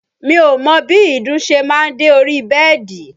Mi ò mọ bí ìdun ṣe máa ń dé orí bẹ́ẹ̀dì